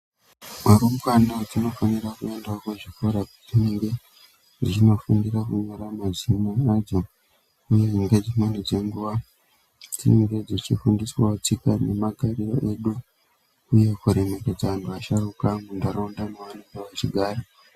Arumbwana tinofanira kuendawo kuchikora kwatinenge tichindofundira kunyora mazina uye ngedzimweni dzenguva tinenge tichifundiswa tsika nemagariro uye kuremeredze antu asharukwa maanenge achigara.